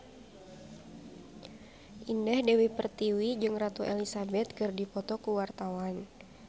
Indah Dewi Pertiwi jeung Ratu Elizabeth keur dipoto ku wartawan